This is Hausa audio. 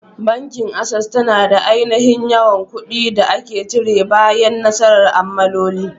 Bankin Access tana da aininhin yawan ƙudi da ake cire bayan nasara ma'amaloli.